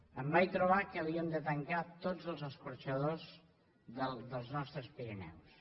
em vaig trobar que havíem de tancar tots els escorxadors dels nostres pirineus